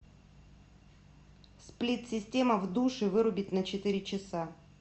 сплит система в душе вырубить на четыре часа